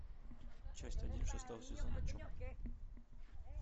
часть один шестого сезона чоп